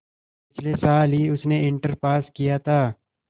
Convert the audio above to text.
पिछले साल ही उसने इंटर पास किया था